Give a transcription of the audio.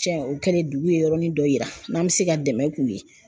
Cɛ o kɛlen dugu ye yɔrɔnin dɔ yira n'an bɛ se ka dɛmɛ k'u ye!